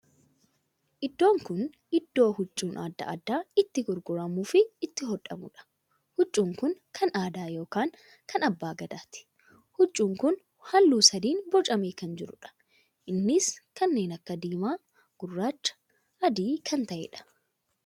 Iddoo kun iddoo huccuu addaa addaa itti gurguramu fi itti hodhamuudha. huccuun kun kan aadaa ykn kan abbaa gadaati. huccuun kun halluu sadiin bocamee kan jiruudha. Innis kanneen akka diimaa, gurraacha fi adii kan taheedha.